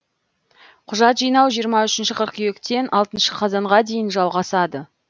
құжат жинау жиырма үшінші қыркүйектен алтыншы қазанға дейін жалғасады